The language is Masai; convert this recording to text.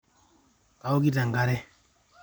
kaokito enkare nairobi